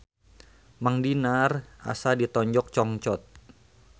Mang Dinar asa ditonjok congcot